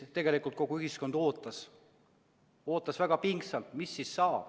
Tegelikult kogu ühiskond ootas, ootas väga pingsalt, mis saab.